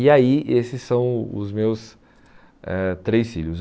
E aí esses são os meus eh três filhos.